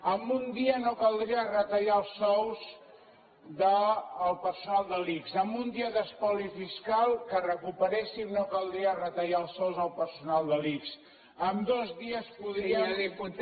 amb un dia no caldria retallar els sous del personal de l’ics amb un dia d’espoli fiscal que recuperéssim no caldria retallar els sous al personal de l’ics amb dos dies podríem